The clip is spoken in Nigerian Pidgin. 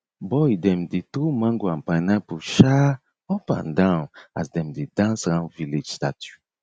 boy dem dey throw mango and pineapple um up and down as dem dey dance round village statue